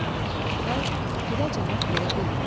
Zavallı Torağay filə cavab verə bilmədi.